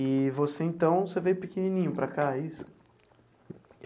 E você então, você veio pequenininho para cá, é isso?